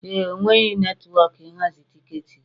Ee e, enweghị netwọkụ ịhazi tiketi gị.